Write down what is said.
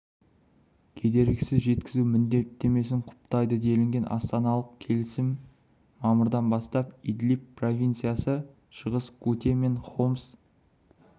кедергісіз жеткізу міндеттемесін құптайды делінген астаналық келісім мамырдан бастап идлиб провинциясы шығыс гуте және хомс